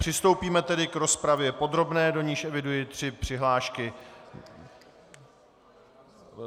Přistoupíme tedy k rozpravě podrobné, do níž eviduji tři přihlášky.